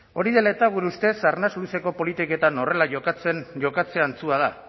hori dela eta gure ustez arnas luzeko politikatan horrela jokatzea antzua da